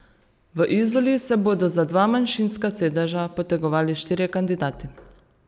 V Izoli se bodo za dva manjšinska sedeža potegovali štirje kandidati.